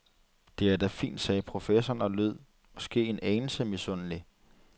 Det er da fint, sagde professoren og lød måske en anelse misundelig.